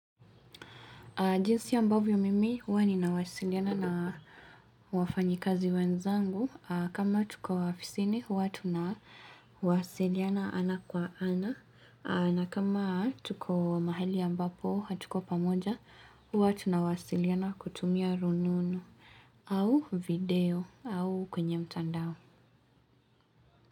Jinsi ambavyo mimi, huwa ninawasiliana na wafanyikazi wenzangu. Kama tuko ofisini, huwa tunawasiliana ana kwa ana. Na kama tuko mahali ambapo hatuko pamoja, huwa tunawasiliana kutumia rununu au video au kwenye mtandao.